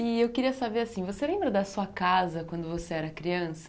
E eu queria saber assim, você lembra da sua casa quando você era criança?